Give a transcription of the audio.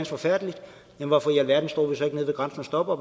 forfærdeligt men hvorfor i alverden står vi så ikke nede ved grænsen og stopper